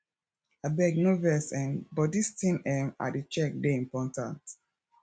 abeg no vex um but dis thing um i dey check dey important